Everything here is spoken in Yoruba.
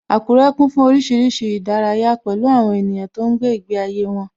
Akure kún fún oríṣiríṣi ìdárayá, pẹ̀lú àwọn ènìyàn tó ń gbé ìgbé ayé wọn